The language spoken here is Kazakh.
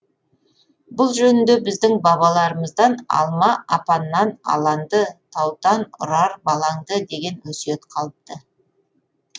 бұл жөнінде біздің бабаларымыздан алма апаннан аланды таутан ұрар балаңды деген өсиет қалыпты